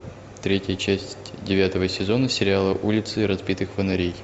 третья часть девятого сезона сериала улицы разбитых фонарей